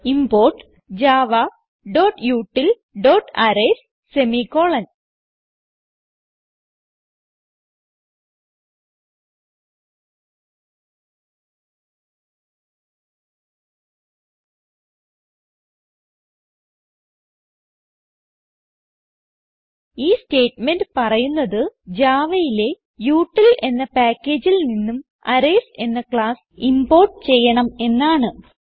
import javautilഅറേയ്സ് semicolon ഈ statement പറയുന്നത് Javaയിലെ യുടിൽ എന്ന പാക്കേജിൽ നിന്നും അറേയ്സ് എന്ന ക്ലാസ് ഇംപോർട്ട് ചെയ്യണം എന്നാണ്